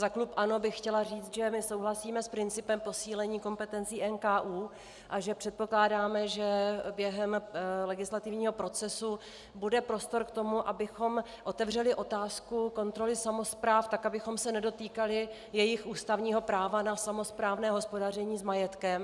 Za klub ANO bych chtěla říct, že my souhlasíme s principem posílení kompetencí NKÚ a že předpokládáme, že během legislativního procesu bude prostor k tomu, abychom otevřeli otázku kontroly samospráv tak, abychom se nedotýkali jejich ústavního práva na samosprávné hospodaření s majetkem.